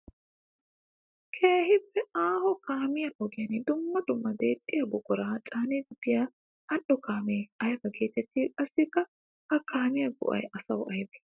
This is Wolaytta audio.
Keehippe aaho kaamiya ogiyan dumma dumma deexxiya buqura caaniddi biya ali'o kaame aybba geetetti? Qassikka ha kaamiya go'ay asawu aybbe?